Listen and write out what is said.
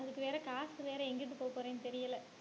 அதுக்கு வேற காசு வேற எங்கிட்டு போகப்போறேன்னு தெரியலே.